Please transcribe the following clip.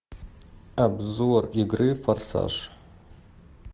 обзор игры форсаж